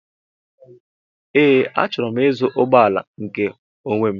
Ee, achọrọ m ịzụ ụgbọala nke onwé m